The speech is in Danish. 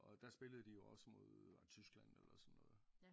Og der spillede de jo også mod var det Tyskland eller sådan noget